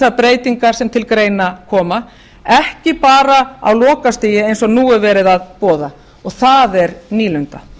þær breytingar sem til greina koma ekki bara á lokastigi eins og nú er verið að boða og það er nýlunda